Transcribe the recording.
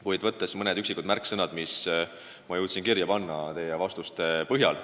Kuid võtan jutuks mõned märksõnad, mis ma jõudsin teie vastuste ajal kirja panna.